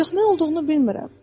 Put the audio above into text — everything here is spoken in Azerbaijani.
Ancaq nə olduğunu bilmirəm.